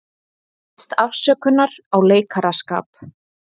Biðst afsökunar á leikaraskap